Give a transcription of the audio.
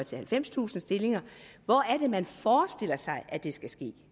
halvfemstusind stillinger hvor er det man forestiller sig at det skal ske